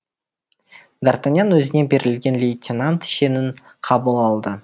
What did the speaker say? д артаньян өзіне берілген лейтенант шенін қабыл алды